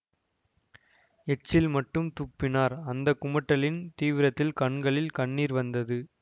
எச்சில் மட்டும் துப்பினார் அந்த குமட்டலின் தீவிரத்தில் கண்களில் கண்ணீர் வந்தது